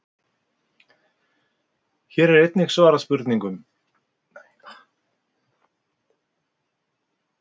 Hér er einnig svarað spurningunum: Hvað lifa pöndur lengi?